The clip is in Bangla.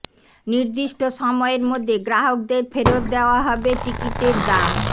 নির্দিষ্ট সময়ের মধ্যে গ্রাহকদের ফেরৎ দেওয়া হবে টিকিটের দাম